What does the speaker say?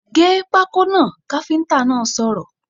Gé pákó náà! káfíntà náà sọ̀rọ̀